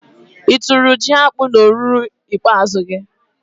I tụ́rụ jiakpụ n'ọrụubi ikpeazụ gị?